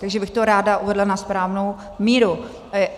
Takže bych to ráda uvedla na správnou míru.